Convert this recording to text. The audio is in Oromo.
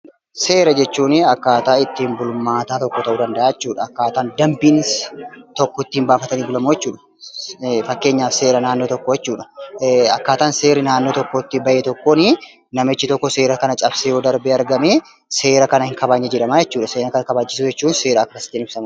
Seera jechuun akkaataa ittiin bulmaataa tokko ta'uu danda'aa jechuudha. Akkaataa dambiin tokko ittiin baafatame bulamu jechuudha. Fakkeenyaaf seera naannoo tokko jechuudha. Akkaataan seerri naannoo tokkoo ittiin bahe tokkoonii namichi tokko seera kana cabsee yoo darbe argame seera kan hin kabajne jedhama jechuudha. Seera kana kabachiisuu jechuun seera akkasiin ibsamu